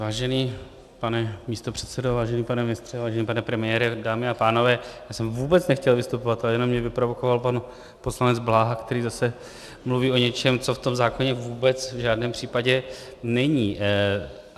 Vážený pane místopředsedo, vážený pane ministře, vážený pane premiére, dámy a pánové, já jsem vůbec nechtěl vystupovat, ale jenom mě vyprovokoval pan poslanec Bláha, který zase mluví o něčem, co v tom zákoně vůbec v žádném případě není.